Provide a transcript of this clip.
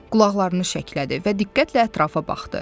Qulaqlarını şəklədi və diqqətlə ətrafa baxdı.